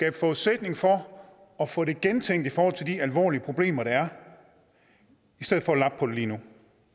en forudsætning for at få det gentænkt i forhold til de alvorlige problemer der er i stedet for at lappe på det lige nu